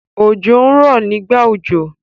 Òjò ń rọ nígbà òjò.